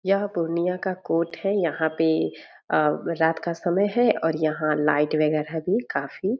यह पूर्णिया का कोर्ट है यहाँ पे अ रात का समय है और यहाँ लाइट वैगरह भी काफी।